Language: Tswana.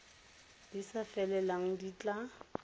di sa felelang di tla